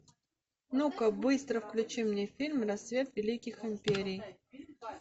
ну ка быстро включи мне фильм расцвет великих империй